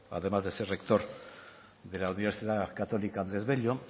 además de ser rector de la universidad católica andrés bello